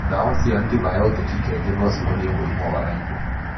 Ndawa cia antibiotic kaingĩ no cihonie mũrimũ wa Lyme.